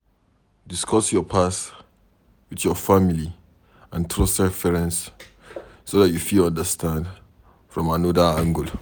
Discuss your past with your family and trusted friends so dat you fit understand from anoda angle